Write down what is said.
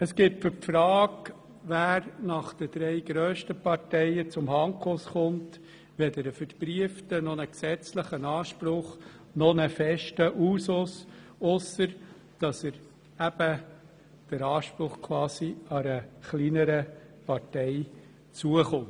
Es gibt für die Frage, wer nach den drei grössten Parteien zum Handkuss kommt, weder einen verbrieften noch einen gesetzlichen Anspruch noch einen festen Usus, ausser jenem, dass der Sitz eben einer der kleineren Parteien zukommt.